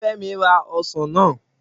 Femi ra osan naa.